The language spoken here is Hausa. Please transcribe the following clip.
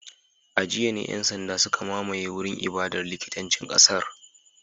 A jiya ne ‘yan sanda suka mamaye wurin ibadar likitancin kasar